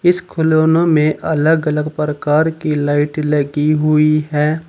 इस खिलौने में अलग अलग प्रकार की लाइट लगी हुई है।